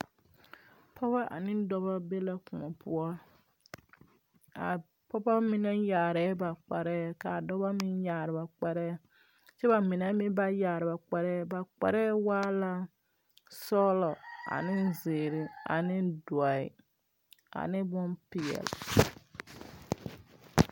Pɔge ane dɔba be la kõɔ poɔ a pɔgeba mine yaarɛɛ ba kpare ka dɔbɔ meŋ yaare ba kpare kyɛ ka ba mine meŋ ba yaare ba kpare ba kparre waa la sɔglɔ an zeere ane dɔɛ ane bonpeɛle.